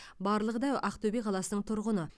барлығы да ақтөбе қаласының тұрғыны